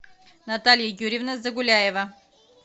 наталья юрьевна загуляева